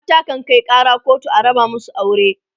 mata kan Kai Kara kotu a raba masu aure